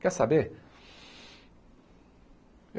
Quer saber?